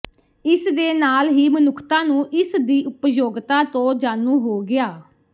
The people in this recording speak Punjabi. ਇਸਦੇ ਨਾਲ ਹੀ ਮਨੁੱਖਤਾ ਨੂੰ ਇਸਦੀ ਉਪਯੋਗਤਾ ਤੋਂ ਜਾਣੂ ਹੋ ਗਿਆ